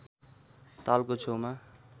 तालको छेउमा